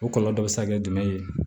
O kɔlɔlɔ bɛ se ka kɛ jumɛn ye